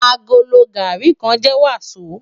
Àgóló gàrí kán jè wasó